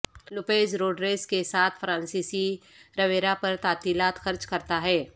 Lopez Rodriguez کے ساتھ فرانسیسی رویرا پر تعطیلات خرچ کرتا ہے